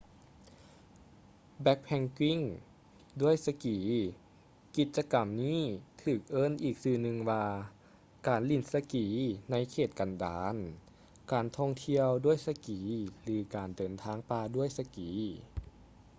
ແບັກແພັກກິ້ງດ້ວຍສະກີ ກິດຈະກຳນີ້ຖືກເອີ້ນອີກຊື່່ໜຶ່ງວ່າ ການຫຼິ້ນສະກີໃນເຂດກັນດານ ການທ່ອງທ່ຽວດ້ວຍສະກີ ຫຼື ການເດີນປ່າດ້ວຍສະກີ